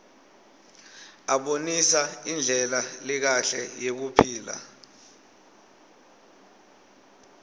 abonisa indlela lekahle yekuphila